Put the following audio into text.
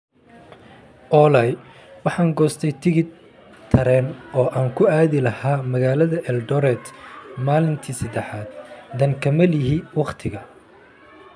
Olly waxaan goostay tigidh tareen oo aan ku aadi lahaa magaalada Eldoret maalintii saddexaad, dan kama lihi waqtiga